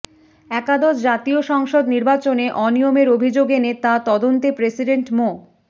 একাদশ জাতীয় সংসদ নির্বাচনে অনিয়মের অভিযোগ এনে তা তদন্তে প্রেসিডেন্ট মো